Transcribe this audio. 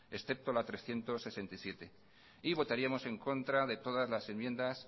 excepto la trescientos sesenta y siete y votaríamos en contra de todas las enmiendas